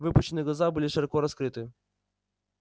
выпученные глаза были широко раскрыты